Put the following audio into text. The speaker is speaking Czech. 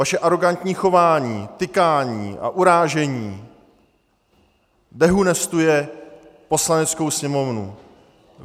Vaše arogantní chování, tykání a urážení dehonestuje Poslaneckou sněmovnu.